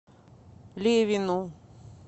левину